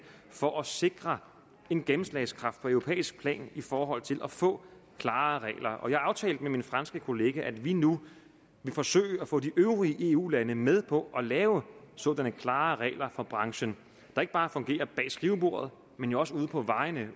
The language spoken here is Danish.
for at sikre en gennemslagskraft på europæisk plan i forhold til at få klarere regler og jeg aftalte med min franske kollega at vi nu vil forsøge at få de øvrige eu lande med på at lave sådanne klarere regler for branchen der ikke bare fungerer bag skrivebordet men også ude på vejene